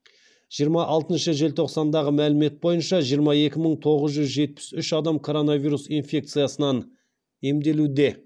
жиырма алтыншы желтоқсандағы мәлімет бойынша жиырма екі мың тоғыз жүз жетіп үш адам короновирус инфекциясынан емделуде